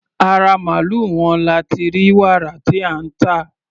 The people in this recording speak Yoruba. Ara màlúù wọn la ti rí wàrà tí à ń tà.